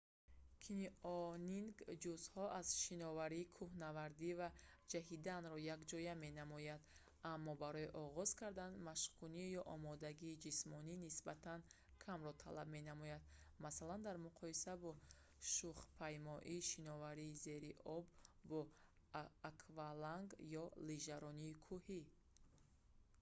канионинг ҷузъҳо аз шиноварӣ кӯҳнавардӣ ва ҷаҳиданро якҷоя менамояд аммо барои оғоз кардан машқкунӣ ё омодагии ҷисмонии нисбатан камро талаб менамояд масалан дар муқоиса бо шухпаймоӣ шиноварии зери об бо акваланг ё лижаронии кӯҳӣ